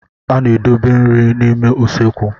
A na-edobe nri n'ime usekwu.